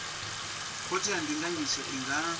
khothe ya ndinganyiso i nga